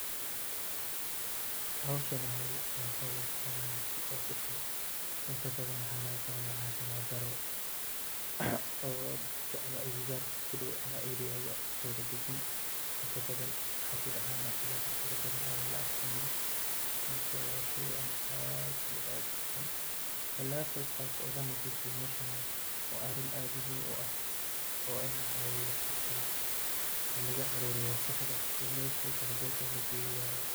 Howshan waa howl aad iyo aad uxun inta badan waxaa laga qaada cafimaad daro oo dadka ama agagaarka ku dow ama agtooda dagan inta badan waxaa kudacaana cuduro fara badan aanan la aqoonin marka waa sheey aad iyo aad uxun in laga qeyb qaato oo lanadiifiyo meeshan waa arin aad muhiim u ah oo in lacaawiyo dadka oo laga aruuriyo wasaqda oo meesha aay ku haboon tahay lageeyo waye.